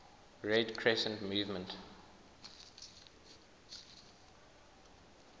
red crescent movement